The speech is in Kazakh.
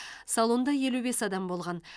салонда елу бес адам болған